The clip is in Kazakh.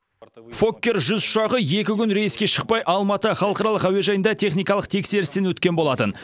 фоккер жүз ұшағы екі күн рейске шықпай алматы халықаралық әуежайында техникалық тексерістен өткен болатын